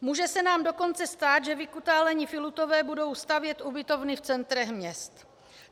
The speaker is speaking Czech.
Může se nám dokonce stát, že vykutálení filutové budou stavět ubytovny v centrech měst.